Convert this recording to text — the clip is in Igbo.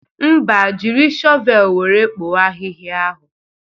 Mba, jiri shọvel wéré kpọọ ahịhịa ahụ